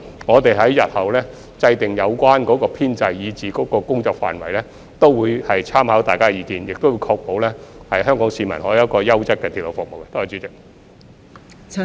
我們日後制訂有關編制和工作範圍時，也會參考大家的意見，並會確保香港市民可享有優質的鐵路服務。